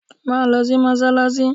Máa lọ sí Mọ́sálásí!